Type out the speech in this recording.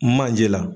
Manje la